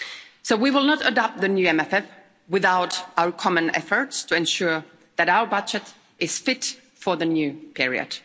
So we will not adopt the new MFF without our common efforts to ensure that our budget is fit for the new period.